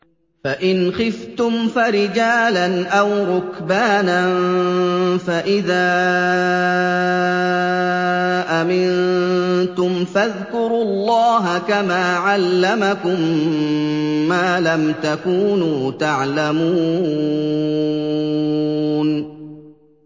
فَإِنْ خِفْتُمْ فَرِجَالًا أَوْ رُكْبَانًا ۖ فَإِذَا أَمِنتُمْ فَاذْكُرُوا اللَّهَ كَمَا عَلَّمَكُم مَّا لَمْ تَكُونُوا تَعْلَمُونَ